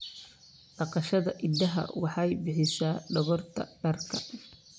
Dhaqashada idaha waxay bixisaa dhogorta dharka.